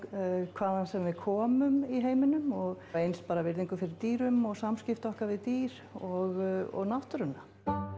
hvaðan sem við komum í heiminum og eins bara virðingu fyrir dýrum og samskipti okkar við dýr og náttúruna